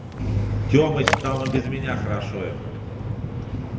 темыч там и без меня хорошо им